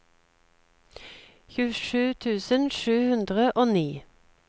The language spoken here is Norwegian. tjuesju tusen sju hundre og ni